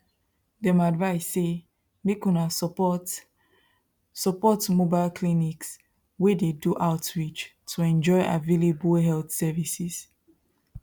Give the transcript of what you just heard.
dem advise say make una support mobile support mobile clinics wey dey do outreach to enjoy avallable health services